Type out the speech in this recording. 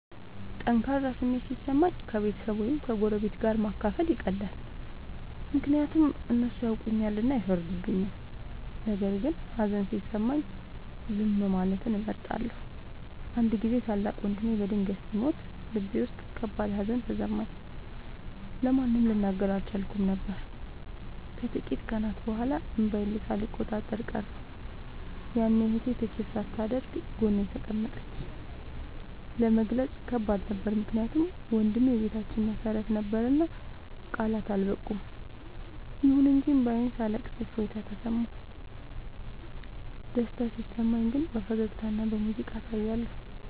ጠንካራ ስሜት ሲሰማኝ ከቤተሰብ ወይም ከጎረቤት ጋር ማካፈል ይቀላል፤ ምክንያቱም እነሱ ያውቁኛልና አይፈርዱም። ነገር ግን ሀዘን ሲሰማኝ ዝም ማለትን እመርጣለሁ። አንድ ጊዜ ታላቅ ወንድሜ በድንገት ሲሞት ልቤ ውስጥ ከባድ ሀዘን ተሰማኝ፤ ለማንም ልናገር አልቻልኩም ነበር። ከጥቂት ቀናት በኋላ እንባዬን ሳልቆጣጠር ቀረሁ፤ ያኔ እህቴ ትችት ሳታደርግ ጎኔ ተቀመጠች። ለመግለጽ ከባድ ነበር ምክንያቱም ወንድሜ የቤታችን መሰረት ነበርና ቃላት አልበቁም። ይሁን እንጂ እንባዬን ሳለቅስ እፎይታ ተሰማሁ። ደስታ ሲሰማኝ ግን በፈገግታና በሙዚቃ አሳያለሁ።